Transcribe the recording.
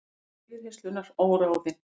Lengd yfirheyrslunnar óráðin